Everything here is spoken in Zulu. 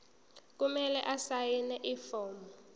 kumele asayine ifomu